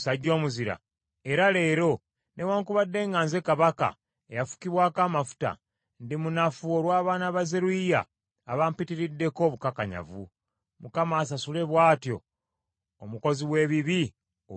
Era leero, newaakubadde nga nze kabaka eyafukibwako amafuta, ndimunafu olw’abaana ba Zeruyiya abampitiriddeko obukakanyavu. Mukama asasule bw’atyo omukozi w’ebibi olw’ebikolwa bye!”